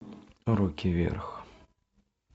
руки вверх